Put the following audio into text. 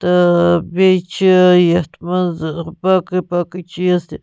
تہٕ بیٚیہِ چٕھ یتھ منٛز باقےٕ باقےٕ چیٖز تہِ